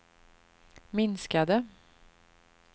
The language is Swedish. minskade